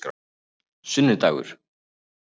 sunnudagur